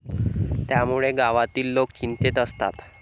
त्यामुळे गावातील लोक चिंतेत असतात.